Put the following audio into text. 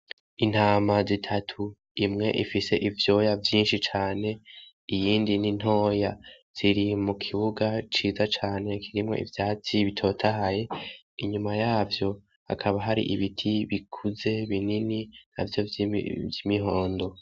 Intama zitatu, imwe ifise ivyoya vyinshi cane. Iyindi ni ntoya. Ziri mu kibuga ciza cane kiri mwo ivyatsi bitotahaye. Inyuma yavyo hakaba hari ibiti bikuze binini navyo vy'imihondo.